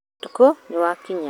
Ũtukũnĩ wakinya